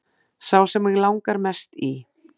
Sá sem mig langar mest í